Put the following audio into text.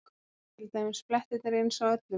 Eru til dæmis blettirnir eins á öllum?